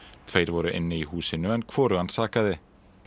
tveir voru inn í húsinu en hvorugan sakaði